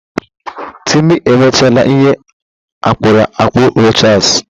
Timi emechala ihe akpụrụ akpụ Rochas